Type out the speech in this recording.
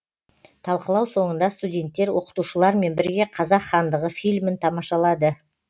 талқылау соңында студентттер оқытушылармен бірге қазақ хандығы фильмін тамашалады